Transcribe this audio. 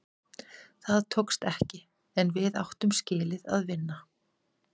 Það tókst ekki, en við áttum skilið að vinna.